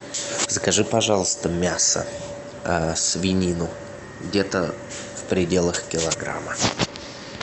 закажи пожалуйста мясо свинину где то в пределах килограмма